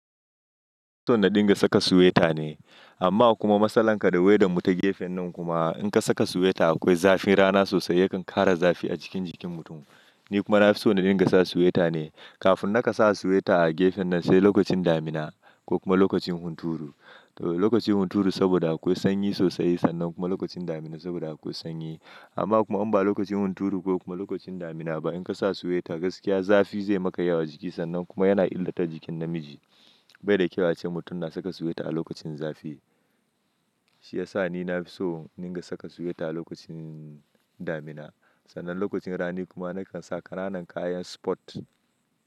So na dinga saka sweta ne amma kuma matsalar kada wai da mu ta gefen nan kuma in ka saka sweta akwai zafin rana sosai yakan ƙara zafi a cikin jikin mutum. Ni kuma na fi so na dinga sa sweta ne kafin na ka sa sweta a gefen nan sai lokacin damina ko kuma lokacin hunturu. Lokacin hunturu saboda akwai sanyi sosai sannan kuma lokacin damina saboda akwai sanyi. Amma kuma in ba lokacin hunturu ko kuma lokacin damina ba in ka sa sweta gaskiya zafi zai makayi a jiki sannan kuma yana illata jikin namiji. Bai da kyau ace mutum na saka sweta a lokacin zafi. Shi yasa ni na fi so na dinga saka sweta a lokacin damina sannan lokacin rani kuma na kan saka ranan kayan sport.